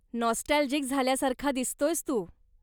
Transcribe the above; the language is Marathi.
नॉस्टॅल्जिक झाल्यासारखा दिसतोयेस तू.